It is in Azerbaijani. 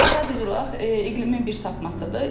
Sadəcə olaraq iqlimin bir sapmasıdır.